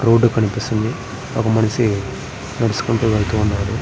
Road కనిపిస్తుంది. ఒక మనిషి నడుచుకుంటూ వెళుతున్నాడు.